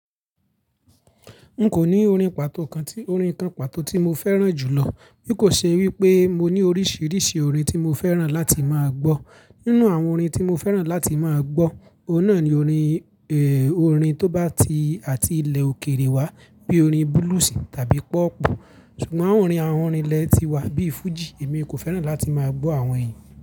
N kò ní orin pàtó kan tí, orin kan pàtó tí mo fẹ́ràn jù lọ. Kò ṣe wípé mo ní oríṣiríṣi orin tí mo fẹ́ràn láti má gbọ́. Nínú àwọn orin tí mo fẹ́ràn láti máa gbọ́, ohun na ni orin, orin tó bá ti àti ilẹ̀ òkèèrè wa bí orin blues tàbí hip hop. Ṣùgbọ́n àwọn orin àwọn orílẹ̀ tí wà bí Fuji, èmi kò fẹ́ràn láti máa gbọ́ àwọn yìí.